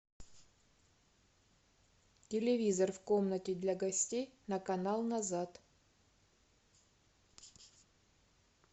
телевизор в комнате для гостей на канал назад